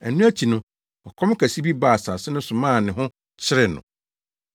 Ɛno akyi no, ɔkɔm kɛse bi baa asase no so maa ne ho kyeree no.